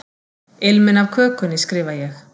Ilminn af kökunni, skrifa ég.